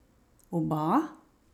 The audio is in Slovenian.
Oba?